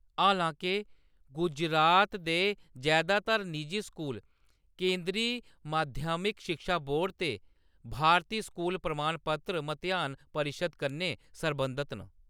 हालांके, गुजरात दे जैदातर निजी स्कूल केंदरी माध्यमिक शिक्षा बोर्ड ते भारती स्कूल प्रमाण पत्र मतेहान परिशद् कन्नै सरबंधत न।